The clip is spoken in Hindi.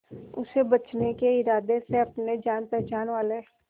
उसे बचने के इरादे से अपने जान पहचान वाले